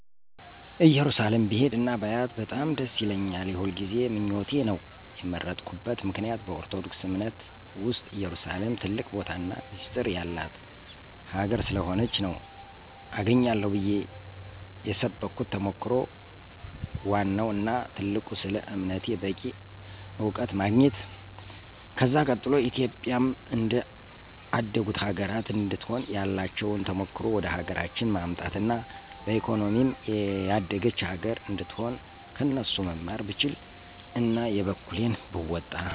እየሩሳሌም ብሄድ እና ባያት በጣም ደስ ይለኛል። የሁልጊዜ ምኞቴ ነው። የመረጥኩበት ምክንያት በኦርቶዶክስ አምነት ዉስጥ ኢየሩሳሌም ትልቅ ቦታና ሚስጢር የላት ሀገር ስለሆነች ነው። አገኛለሁ ብየ የሰብኩት ተሞክሮ ወዋናው እና ትልቁ ስለ አምነቴ በቂ አዉቀት ማግኝት። ከዛ ቀጥሎ ኢትዮጵያም እንደ አደጉት ሀገራት እንድትሆን ያላቸዉን ተሞክሮ ወደሀገራችን ማምጣት አና በኢኮኖሚም የደገች ሀገር አነድትሆን ከነሱ መማር ብችል አና የበኩሌን ብወጣ።